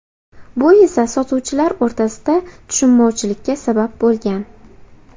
Bu esa sotuvchilar o‘rtasida tushunmovchilikka sabab bo‘lgan.